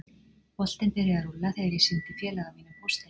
Boltinn byrjaði að rúlla þegar ég sýndi félaga mínum póstinn.